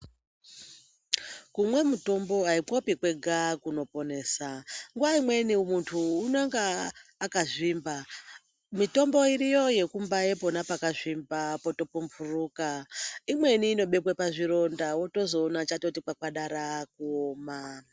Kumwe mitombo haipopi kwega kunoponesa. Nguva imweni muntu unenga akazvimba. Mitombo iriyo yekumbaye ipona pakazvimba potopumburuka. Imweni inobekwe pazvironda wotozoona chati kwakwadara kuoma.